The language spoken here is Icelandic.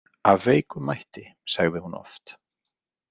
Af veikum mætti, sagði hún oft.